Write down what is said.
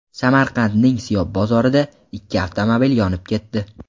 Samarqandning Siyob bozorida ikki avtomobil yonib ketdi.